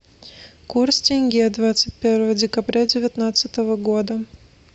курс тенге двадцать первого декабря девятнадцатого года